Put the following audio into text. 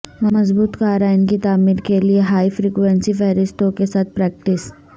مضبوط قارئین کی تعمیر کے لئے ہائی فریکوئینسی فہرستوں کے ساتھ پریکٹس